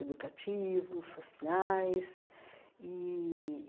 educativos, sociais e.